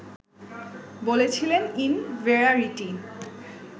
বলেছিলেন ইনভেরারিটি